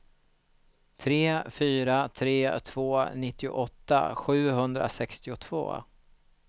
tre fyra tre två nittioåtta sjuhundrasextiotvå